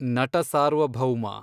Natasaarvabhowma